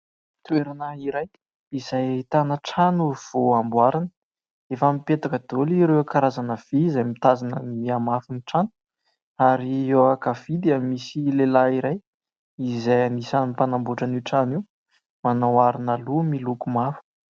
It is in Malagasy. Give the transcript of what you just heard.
Toerana iray izay ahitana trano vao amboarina, efa mipetaka daholo ireo karazana vỳ izay mitazona ny hamafy ny trano ary eo ankavia misy lehilahy iray izay anisany mpanamboatra an'io trano io. Manao arona loha miloko mavo.